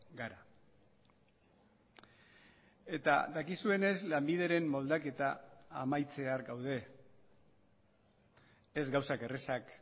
gara eta dakizuenez lanbideren moldaketa amaitzear gaude ez gauzak errazak